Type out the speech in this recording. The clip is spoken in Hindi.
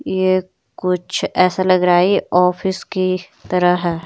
ये कुछ ऐसा लग रहा है ये ऑफिस की तरह है।